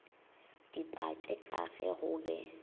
dipatše ka ge go be